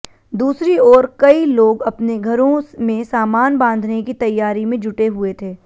दूसरी ओर कई लोग अपने घरों में सामान बांधने की तैयारी में जुटे हुए थे